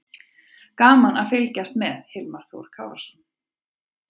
Gaman að fylgjast með: Hilmar Þór Kárason.